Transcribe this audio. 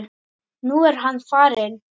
Nú er hann farinn.